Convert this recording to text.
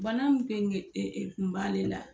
Bana ee tun b'ale la